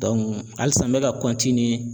halisa n bɛ ka